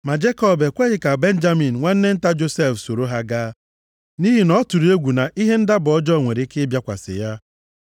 Ma Jekọb ekweghị ka Benjamin nwanne nta Josef soro ha gaa, nʼihi na ọ tụrụ egwu na ihe ndaba ọjọọ nwere ike ịbịakwasị ya.